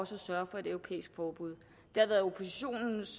sørget for et europæisk forbud